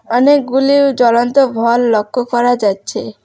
অনেকগুলি জ্বলন্ত ভল লক্ষ্য করা যাচ্ছে।